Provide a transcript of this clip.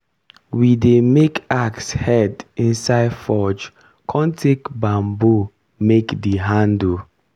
we dey make axe head inside forge con take bamboo make di handle.